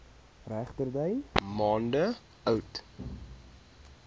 regterdy maande oud